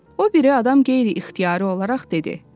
O biri adam qeyri-ixtiyari olaraq dedi.